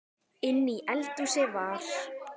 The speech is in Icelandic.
Inni í eldhúsi var